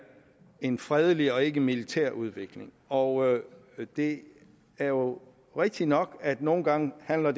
en fredelig og ikke militær udvikling og det er jo rigtigt nok at nogle gange handler